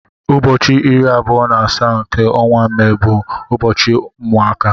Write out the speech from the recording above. Ụbọchị iri abụọ na asaa nke ọnwa Mee bu ụbọchị ụmụaka.